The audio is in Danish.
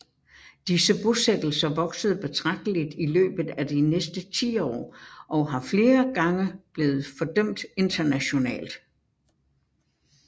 Disse bosættelser voksede betragtelig i løbet af de næste tiår og har flere gange blevet fordømt internationalt